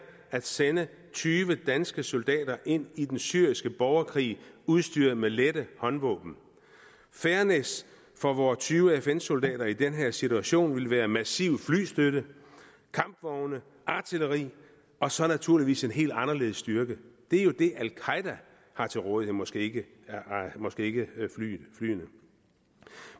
at sende tyve danske soldater ind i den syriske borgerkrig udstyret med lette håndvåben fairness for vore tyve fn soldater i den her situation ville være massiv flystøtte kampvogne artilleri og så naturligvis en helt anderledes styrke det er jo det al qaeda har til rådighed måske måske ikke flyene